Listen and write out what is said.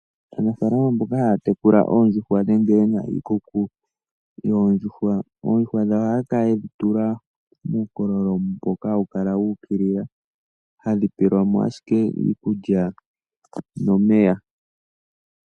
Aanafaalama mboka haya tekula oondjuuhwa nenge yena iikuku yoondjuhwa, oondjuhwa dhawo ohaya kala yedhi tula muukololo mboka hawu kala wuukilila, hadhi pewelwa mo iikulya nomeya.